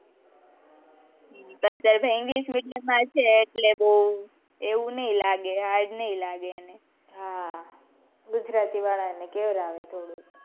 તા તાર ભાઈને તો english, medium માં છે એટલે એવું નઈ લાગે hard નઈ લાગે એને હા ગુજરાતી વાળા ને કેવું લાગે થોડુંક,